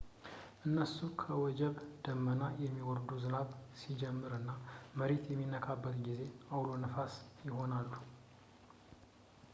እነሱ ከወጀብ ደመና የሚወርዱ ዝናብ ሲጀምር እና መሬት በሚነካበት ጊዜ አውሎ ነፋሳት ይሆናሉ